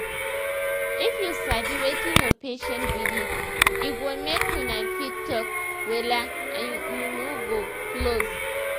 shey you sabi saysome people dey put mind for both their faith and medicine say d thing go heal them